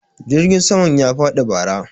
jirgin sama ya faɗi bara